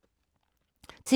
TV 2